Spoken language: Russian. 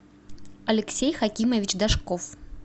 алексей хакимович дашков